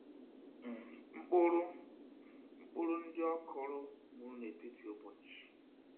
um Mkpụrụ um Mkpụrụ ndị ọkụrụ nwụrụ n'etiti ubochi